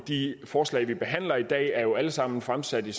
de forslag vi behandler i dag er jo alle sammen fremsat i